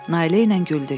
Nailə ilə güldük.